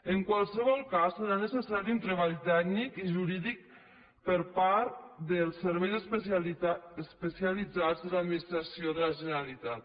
en qualsevol cas serà necessari un treball tècnic i jurídic per part del servei especialitzat de l’administració de la generalitat